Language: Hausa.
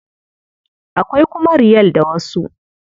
Akwai kuma Riyal da wasu.